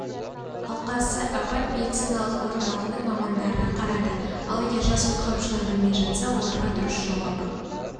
алқасы апат медициналық орталығының мамандары қарады ал егер жас құтқарушылар білмей жатса оларға дұрыс жауабы